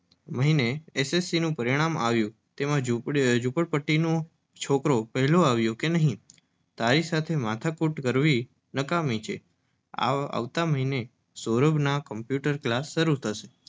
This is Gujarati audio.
મહિને એસ. એસ. સી. નું પરિણામ આવ્યું. ઝૂંપડપટ્ટીનો છોકરો પહેલો આવ્યો કે નહીં! તારી સાથે માથાકૂટ નક્કામી છે. આવતા મહિનાથી સૌરભના કમ્પ્યૂટર ક્લાસ શરૂ થશે.